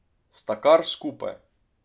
Sta kar skupaj.